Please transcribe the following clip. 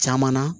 Caman na